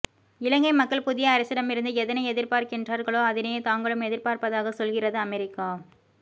இலங்கை மக்கள் புதிய அரசிடமிருந்து எதனை எதிர்பார்க்கின்றார்களோ அதனையே தாங்களும் எதிர்பார்ப்பதாக சொல்கிறது அமெரிக்கா